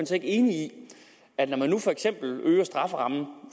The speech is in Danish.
så ikke enig i at når man for eksempel øger straffen